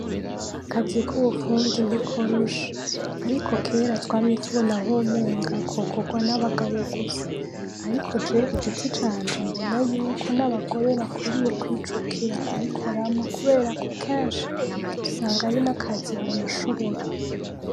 Akazi k'ubufundi ntikoroshe ariko kera twamye tubona ho umenga kokorwa n'abagabo gusa. Ariko jewe kugiti canje mbona yuko n'abagore bakwiriye kwijukira kubukora kuberako kenshi usanga ari n'akazi bonashobora.